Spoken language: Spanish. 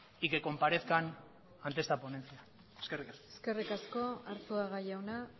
y que comparezcan ante esta ponencia eskerrik asko eskerrik asko arzuaga jauna